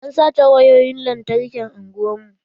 An sace wayoyin lantarkin unguwar mu.